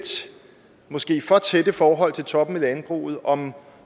måske for tætte forhold til toppen i landbruget om